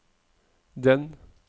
den